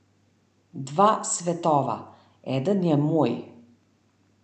Dva svetova, eden je moj.